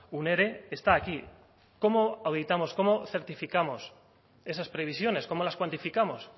un ere está aquí cómo auditamos cómo certificamos esas previsiones cómo las cuantificamos